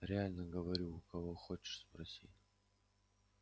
реально говорю у кого хочешь спроси